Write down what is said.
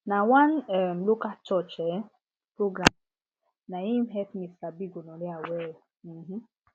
na one um local church um program naim help me sabi gonorrhea well um